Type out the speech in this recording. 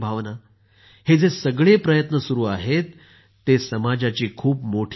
हे जे सगळे प्रयत्न सुरु आहेत ते समाजाची खूप मोठी सेवा आहे